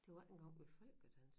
Det var ikke engang ved folkedans